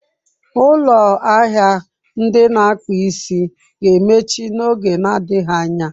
Ụlọ ahịa ndị na-akpụ isi ga-emechi n'oge na-adịghị anya.